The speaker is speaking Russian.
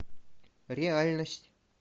реальность